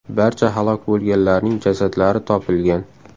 Barcha halok bo‘lganlarning jasadlari topilgan.